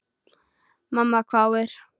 Mamma hváir.